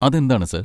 അതെന്താണ്, സർ?